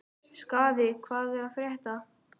Skaði, hvað er að frétta?